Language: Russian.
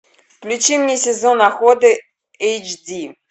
включи мне сезон охоты эйч ди